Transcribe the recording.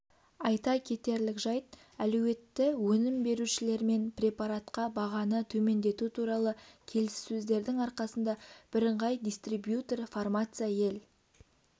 айта кетерлік жайт әлеуетті өнім берушілермен препаратқа бағаны төмендету туралы келіссөздердің арқасында бірыңғай дистрибьютор фармация ел